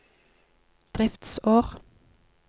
driftsår